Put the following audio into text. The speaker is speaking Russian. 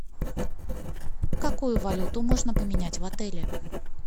какую валюту можно поменять в отеле